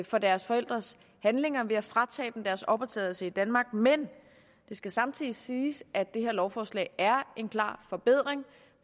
for deres forældres handlinger ved at fratage dem deres opholdstilladelse i danmark men det skal samtidig siges at det her lovforslag er en klar forbedring